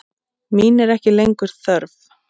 Mín er ekki lengur þörf.